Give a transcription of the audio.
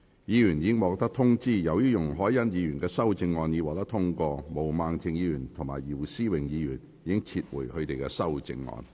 議員已獲通知，由於容海恩議員的修正案獲得通過，毛孟靜議員及姚思榮議員已撤回他們的修正案。